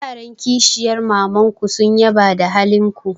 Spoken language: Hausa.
Yaran kishiyar maman ku sun yaba da halin ku.